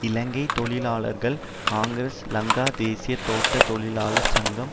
இலங்கை தொழிலாளர் காங்கிரஸ் லங்கா தேசிய தோட்ட தொழிலாளர் சங்கம்